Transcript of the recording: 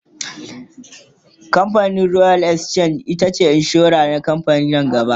camfanin royal exchange assurance agency itace kamfanin insura ta farko a nigeria